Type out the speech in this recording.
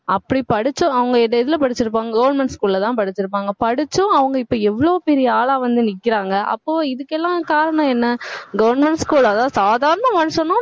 அப்படி படிச்சு அவங்க எதுல படிச்சிருப்பாங்க government school லதான் படிச்சிருப்பாங்க படிச்சும் அவங்க இப்ப எவ்வளவு பெரிய ஆளா வந்து நிக்கிறாங்க அப்போ இதுக்கெல்லாம் காரணம் என்ன government school அதாவது சாதாரண மனுஷனும்